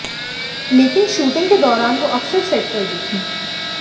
लेकिन शूटिंग के दौरान वो अक्सर सेट पर दिखीं